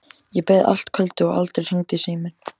Ég beið allt kvöldið og aldrei hringdi síminn.